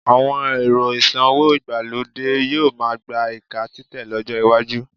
Àwọn ẹ̀rọ ìsanwó ìgbàlódé yóò máá gba ìka títẹ̀ lọ́jọ́ iwájú